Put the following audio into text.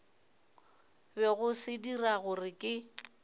bego se dira gore ke